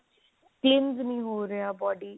cleans ਨੀ ਹੋ ਰਿਹਾ body